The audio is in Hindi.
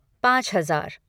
पाँच हज़ार